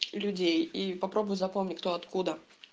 людей и попробуй запомни кто откуда